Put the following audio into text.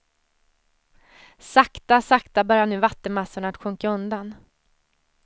Sakta, sakta börjar nu vattenmassorna att sjunka undan.